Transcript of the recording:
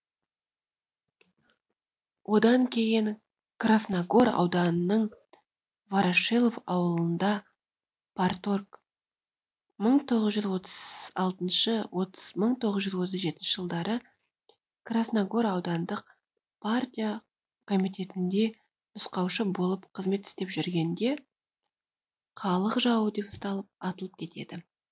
одан кейін красногор ауданының ворошилов ауылында парторг мың тоғыз жүз отыз алтыншы мың тоғыз жүз отыз жетінші жылдары красногор аудандық партия комитетінде нұсқаушы болып қызмет істеп жүргенде халық жауы деп ұсталып атылып кетеді